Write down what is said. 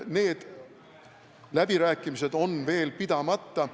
Need läbirääkimised on veel pidamata.